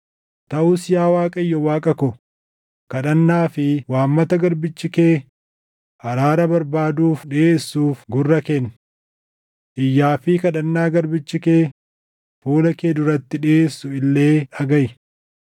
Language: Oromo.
Taʼus yaa Waaqayyo Waaqa ko, kadhannaa fi waammata garbichi kee araara barbaaduuf dhiʼeessuuf gurra kenni. Iyyaa fi kadhannaa garbichi kee fuula kee duratti dhiʼeessu illee dhagaʼi.